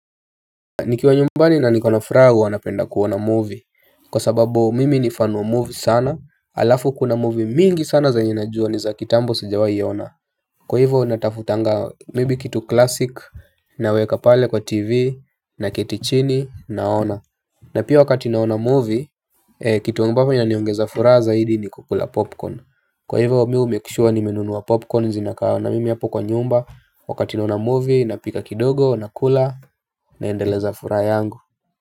Nikiwa nyumbani na niko na furaha huwa napenda kuona movie. Kwa sababu mimi ni fan wa movie sana alafu kuna movie mingi sana zenye najua ni za kitambo sijawai ona. Kwa hivyo natafutanga maybe kitu classic naweka pale kwa tv naketi chini naona. Na pia wakati naona movie kitu ambapo inaniongeza furaha zaidi ni kukula popcorn. Kwa hivyo mimi humake sure nimenunua popcorn zinakaa na mimi hapo kwa nyumba wakati naona movie napika kidogo nakula naendeleza furaha yangu.